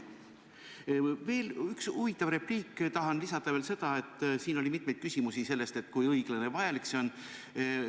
Ja veel üks huvitav repliik: ma tahan lisada seda, et siin oli mitmeid küsimusi sellest, kui õiglane ja vajalik see on.